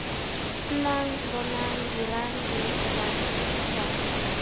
nnang bonang dirang bolokelang fetisang